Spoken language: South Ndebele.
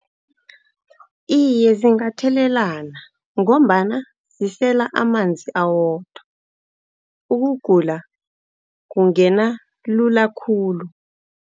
Iye, zingathelelana. Ngombana zisela amanzi awodwa, ukugula kungena lula khulu.